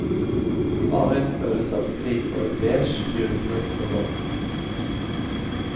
Bare en følelse av striper i beige, gyldenbrunt og blondt.